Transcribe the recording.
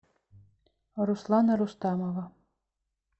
руслана рустамова